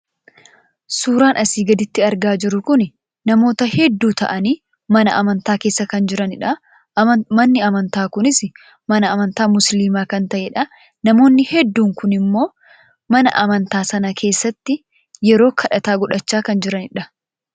Suuraan asii gaditti argaa jirru kun namoota hedduu ta'anii mana amantaa keessa kana jiranidha. Manni amantaa kunis amantaa musliimaa kan ta’edha. Namoonni hedduun kunimmoo mana amantaa sana keessatti ueroo kadhataa godhachaa kan jiranidha.